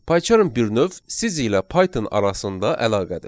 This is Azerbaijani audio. PyCharm bir növ siz ilə Python arasında əlaqədir.